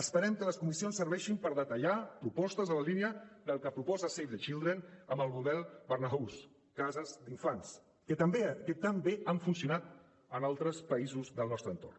esperem que les comissions serveixin per detallar propostes en la línia del que proposa save the children amb el model barnahus cases d’infants que tan bé han funcionat en altres països del nostre entorn